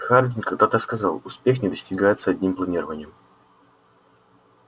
хардин когда-то сказал успех не достигается одним планированием